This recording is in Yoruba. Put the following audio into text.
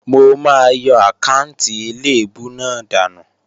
Mò máa yọ àkáànti eléèbú náà dànù